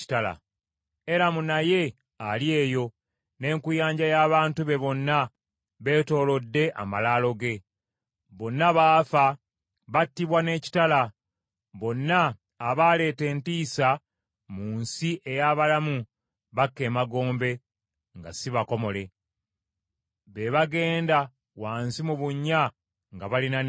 “Eramu naye ali eyo, n’enkuyanja y’abantu be bonna beetoolodde amalaalo ge. Bonna baafa, battibwa n’ekitala. Bonna abaaleeta entiisa mu nsi ey’abalamu bakka emagombe nga si bakomole, be bagenda wansi mu bunnya nga balina n’ensonyi.